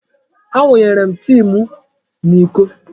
Awụnyere m tii m n'iko.